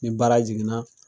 Ni baara jiginna